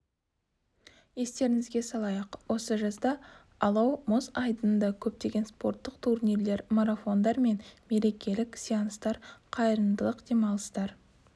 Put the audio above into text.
естеріңізге салайық осы жазда алау мұз айдынында көптеген спорттық турнирлер марафондар мен мерекелік сеанстар қайырымдылық демалыстар